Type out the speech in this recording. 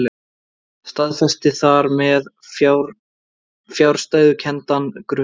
Staðfesti þar með fjarstæðukenndan grun.